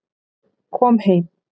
Kom heim